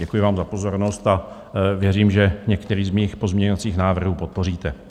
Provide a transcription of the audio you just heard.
Děkuji vám za pozornost a věřím, že některý z mých pozměňovacích návrhů podpoříte.